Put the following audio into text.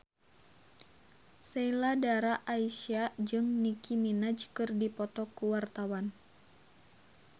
Sheila Dara Aisha jeung Nicky Minaj keur dipoto ku wartawan